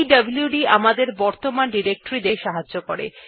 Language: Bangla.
পিডব্লুড কমান্ড আমাদেরকে বর্তমান ডিরেক্টরী দেখতে সাহায্য করেন